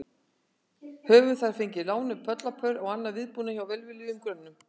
Höfðu þær fengið lánuð bollapör og annan viðbúnað hjá velviljuðum grönnum.